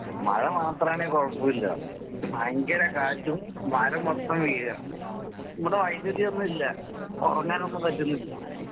മഴ മാത്രമാണെൽ കൊഴപ്പയില്ല. ഭയങ്കര കാറ്റും മരം മൊത്തം വീഴാ. വൈദ്യുതിയൊന്നും ഇല്ല. ഒറങ്ങാൻ ഒന്നും പറ്റുന്നില്ല